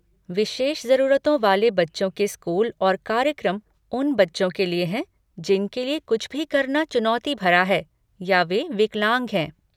विशेष जरूरतों वाले बच्चों के स्कूल और कार्यक्रम उन बच्चों के लिए हैं जिनके लिए कुछ भी करना चुनौती भरा है या वे विकलांग हैं।